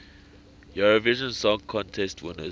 eurovision song contest winners